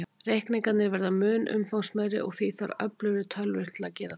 Reikningarnir verða mun umfangsmeiri, og því þarf öflugri tölvur til að gera þá.